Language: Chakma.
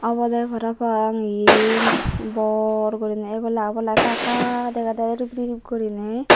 obowde parapang eyen bor gorinei ebela obola ekka ekka degedey ribrib guriney.